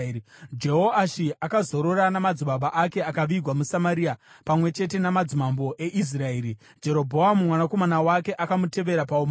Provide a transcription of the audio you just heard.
Jehoashi akazorora namadzibaba ake akavigwa muSamaria pamwe chete namadzimambo eIsraeri. Jerobhoamu mwanakomana wake akamutevera paumambo.